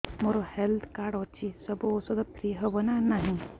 ମୋର health card ଅଛି ସବୁ ଔଷଧ ଫ୍ରି ହବ ନା ନାହିଁ